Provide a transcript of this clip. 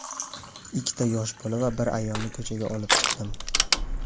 Ikkita yosh bola va bir ayolni ko‘chaga olib chiqdim.